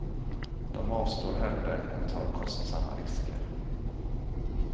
De avstår hellre än tar kostsamma risker.